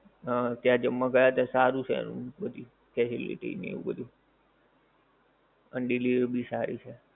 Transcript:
હા ત્યાં જમવા ગયા હતા સારું છે એનું બધુ facility ને એવું બધુ અને delivery ભી સારી છે.